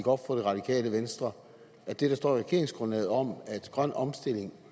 op for det radikale venstre at det der står i regeringsgrundlaget om at grøn omstilling